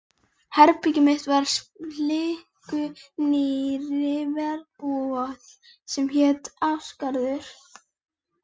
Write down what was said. Herbergið mitt var á splunkunýrri verbúð sem hét Ásgarður.